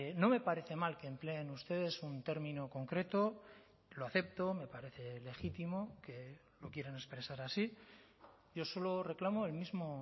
no me parece mal que empleen ustedes un término concreto lo acepto me parece legítimo que lo quieren expresar así yo solo reclamo el mismo